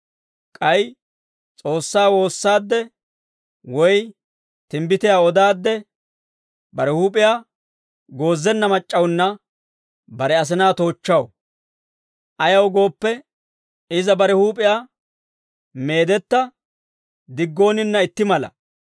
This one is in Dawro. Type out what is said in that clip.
K'ay S'oossaa woossaade woy timbbitiyaa odaadde, bare huup'iyaa goozenna mac'c'awunna bare asinaa toochchaw; ayaw gooppe, iza bare huup'iyaa meedetta diggooninna itti mala.